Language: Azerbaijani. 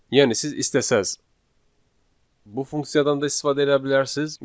Yəni siz istəsəz bu funksiyadan da istifadə eləyə bilərsiz